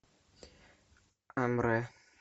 амре